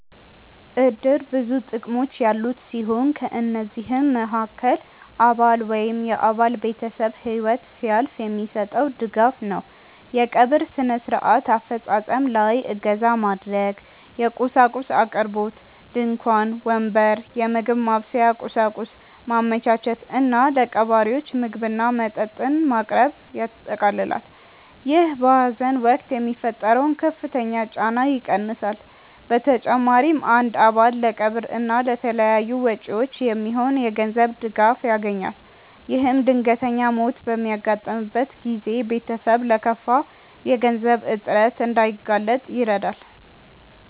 እድር ብዙ ጥቅሞች ያሉት ሲሆን ከነዚህም መሃከል አባል ወይም የአባል ቤተሰብ ህይወት ሲያልፍ የሚሰጠው ድጋፍ ነው። የቀብር ስነ-ስርዓት አፈፃፀም ላይ እገዛ ማድረግ፣ የቁሳቁስ አቅርቦት (ድንኳን፣ ወንበር፣ የምግብ ማብሰያ ቁሳቁስ) ማመቻቸት እና ለቀባሪዎች ምግብና መጠጥ ማቅረብን ያጠቃልላል። ይህ በሀዘን ወቅት የሚፈጠረውን ከፍተኛ ጫና ይቀንሳል። በተጨማሪም አንድ አባል ለቀብር እና ለተያያዙ ወጪዎች የሚሆን የገንዘብ ድጋፍ ያገኛል። ይህም ድንገተኛ ሞት በሚያጋጥምበት ጊዜ ቤተሰብ ለከፋ የገንዘብ እጥረት እንዳይጋለጥ ይረዳል።